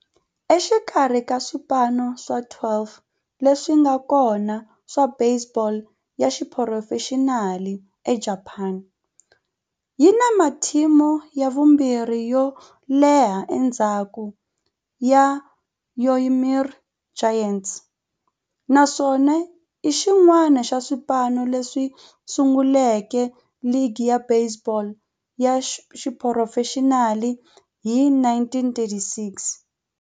Exikarhi ka swipano swa 12 leswi nga kona swa baseball ya xiphurofexinali eJapani, yi na matimu ya vumbirhi yo leha endzhaku ka Yomiuri Giants, naswona i xin'wana xa swipano leswi sunguleke ligi ya baseball ya xiphurofexinali hi 1936.